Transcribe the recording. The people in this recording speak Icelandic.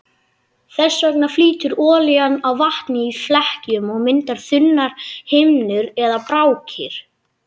Þess vegna flýtur olían á vatni í flekkjum og myndar þunnar himnur eða brákir.